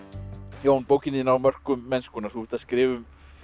Jón bókin þín á mörkum mennskunnar þú ert að skrifa um